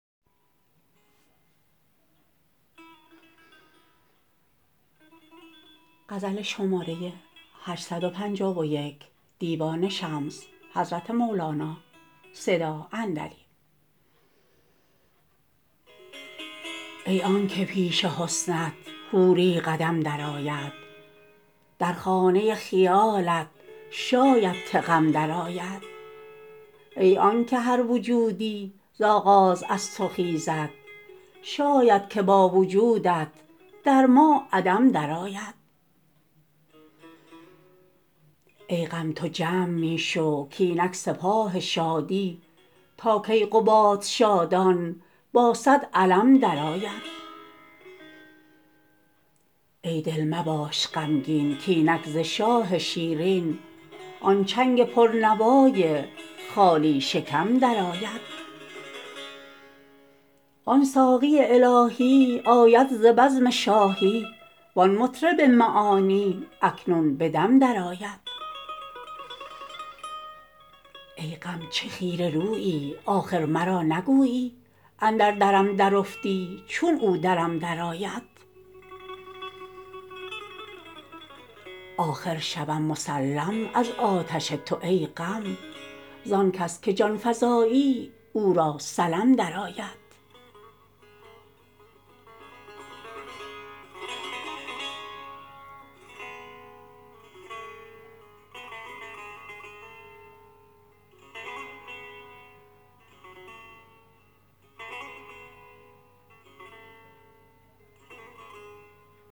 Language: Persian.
ای آنک پیش حسنت حوری قدم دو آید در خانه خیالت شاید که غم درآید ای آنک هر وجودی ز آغاز از تو خیزد شاید که با وجودت در ما عدم درآید ای غم تو جمع می شو کاینک سپاه شادی تا کیقباد شادان با صد علم درآید ای دل مباش غمگین کاینک ز شاه شیرین آن چنگ پرنوای خالی شکم درآید آن ساقی الهی آید ز بزم شاهی وان مطرب معانی اکنون به دم درآید ای غم چه خیره رویی آخر مرا نگویی اندر درم درافتی چون او درم درآید آخر شوم مسلم از آتش تو ای غم زان کس که جان فزایی او را سلم درآید